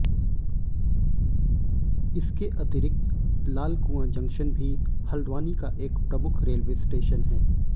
इसके अतिरक्त लालकुआं जंग्स्शन भी हल्द्वानी का एक प्रमुख रेलवे स्टेशन है